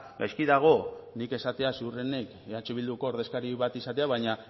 gaizki dago nik esatea ziurrenik eh bilduko ordezkari bat izatea baina